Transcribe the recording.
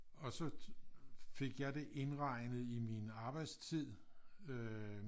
Så fik jeg det indregnet i min arbejdstid øh